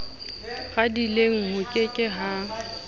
radileng ho ke ke ha